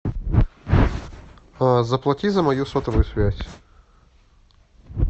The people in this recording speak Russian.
заплати за мою сотовую связь